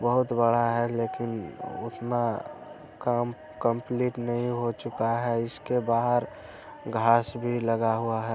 बहुत बड़ा है लेकिन उतना काम कम्पलीट नहीं हो चुका है। इसके बाहर घास भी लगा हुआ है।